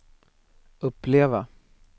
uppleva